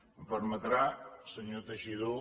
em permetrà senyor teixidó